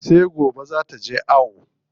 Sai gobe zaa taje ayo.